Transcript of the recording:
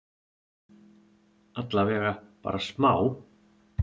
Allavega bara smá?